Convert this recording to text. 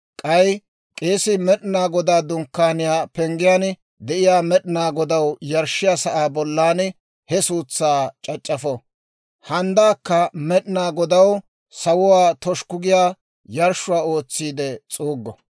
K'ay k'eesii Med'inaa Godaa Dunkkaaniyaa penggiyaan de'iyaa Med'inaa Godaw yarshshiyaa sa'aa bollan he suutsaa c'ac'c'afo; handdaakka Med'inaa Godaw sawuwaa toshukku giyaa yarshshuwaa ootsiide s'uuggo.